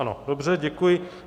Ano, dobře, děkuji.